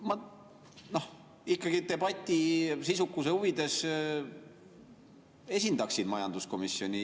Ma ikkagi debati sisukuse huvides esindaksin majanduskomisjoni.